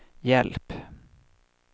hjälp